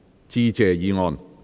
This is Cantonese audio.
致謝議案。